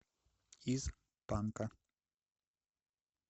из панка